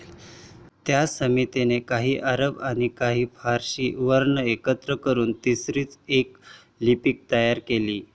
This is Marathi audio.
त्या समितीने काही अरब आणि काही फारशी वर्ण एकत्र करून तिसरीच एक लिपी तयार केली.